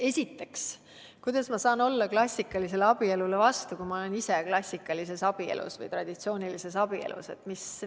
Esiteks, kuidas ma saan olla klassikalise abielu vastu, kui ma ise olen klassikalises või traditsioonilises abielus?